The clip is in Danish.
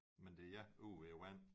Men det er ja ude ved vand